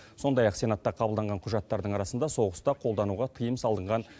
сондай ақ сенатта қабылданған құжаттардың арасында соғыста қолдануға тыйым салынған